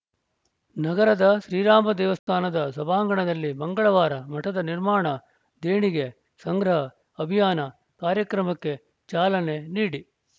ನಗರದ ಶ್ರೀರಾಮ ದೇವಸ್ಥಾನದ ಸಭಾಂಗಣದಲ್ಲಿ ಮಂಗಳವಾರ ಮಠದ ನಿರ್ಮಾಣ ದೇಣಿಗೆ ಸಂಗ್ರಹ ಅಭಿಯಾನ ಕಾರ್ಯಕ್ರಮಕ್ಕೆ ಚಾಲನೆ ನೀಡಿ